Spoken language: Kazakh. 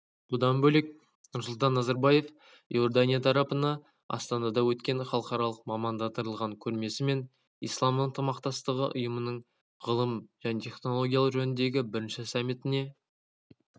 бұдан бөлек нұрсұлтан назарбаев иордания тарапына астанада өткен халықаралық мамандандырылған көрмесі мен ислам ынтымақтастығы ұйымының ғылым және технологиялар жөніндегі бірінші саммитіне